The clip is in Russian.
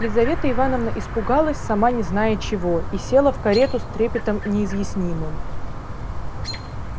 лизавета ивановна испугалась сама не зная чего и села в карету с трепетом неизъяснимым